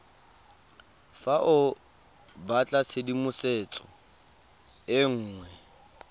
fa o batlatshedimosetso e nngwe